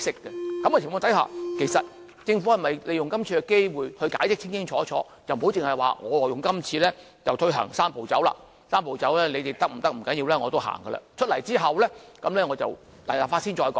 在這種情況下，其實政府應否利用今次的機會解釋得清清楚楚，而不是只說今次推行"三步走"，即使我們不同意也會推行，推行後待日後立法再討論。